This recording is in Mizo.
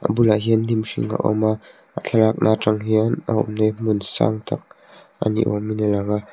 a bulah hian hnim hring a awm a a thlalakna atang hian a awmna hi hmun sang tak a ni awm in a lang a.